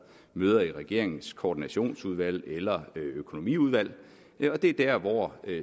møder i regeringens koordinationsudvalg eller økonomiudvalg det er der